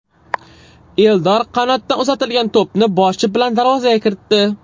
Eldor qanotdan uzatilgan to‘pni boshi bilan darvozaga kiritdi.